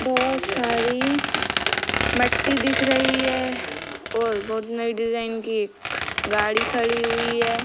बोहोत सारी मट्टी दिख रही है और बोहोत नई डिज़ाइन की एक गाड़ी खड़ी हुई है।